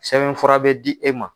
Sɛbɛn fura bɛ di e ma.